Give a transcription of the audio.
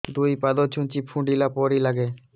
ଦୁଇ ପାଦ ଛୁଞ୍ଚି ଫୁଡିଲା ପରି ଲାଗେ